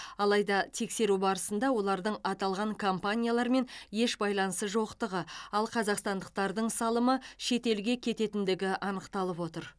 алайда тексеру барысында олардың аталған компаниялармен еш байланысы жоқтығы ал қазақстандықтардың салымы шетелге кететіндігі анықталып отыр